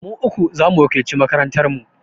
Mu uku za mu wakilci makarantar mu.